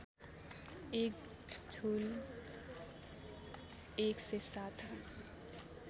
एक जुल १०७